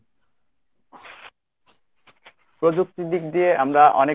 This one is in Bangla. প্রযুক্তির দিক দিয়ে আমরা অনেক